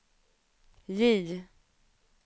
J